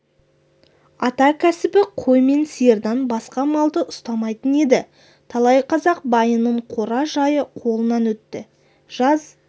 ата кәсібі қой мен сиырдан басқа малды ұстамайтын еді талай қазақ байының қора-жайы қолынан өтті жаз